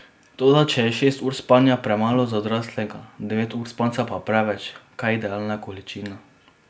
Toda če je šest ur spanja premalo za odraslega, devet ur spanca pa preveč, kaj je idealna količina?